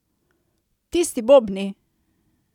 Tisti bobni!